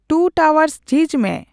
two towers ᱡᱷᱤᱡᱽ ᱢᱮ